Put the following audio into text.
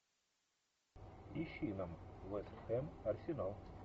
ищи нам вест хэм арсенал